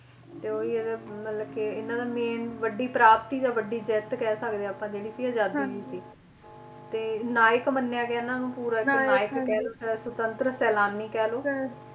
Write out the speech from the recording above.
ਤੇ ਉਹੀ ਆ ਇਹਦੇ ਮਤਲਬ ਕੇ ਇਹਨਾਂ main ਵੱਡੀ ਪ੍ਰਾਪਤੀ ਜਾਂ ਵੱਡੀ ਜਿੱਤ ਕਹਿ ਸਕਦੇ ਆਪਾਂ ਜਿਹੜੀ ਸੀ ਆਜ਼ਾਦੀ ਦੀ ਸੀ ਤੇ ਨਾਇਕ ਮੰਨਿਆ ਗਿਆ ਇਹਨਾਂ ਨੂੰ ਪੂਰਾ ਇੱਕ ਨਾਇਕ ਕਹਿਲੋ ਸਵਤੰਤਰ ਸੈਲਾਨੀ ਕਹਿਲੋ।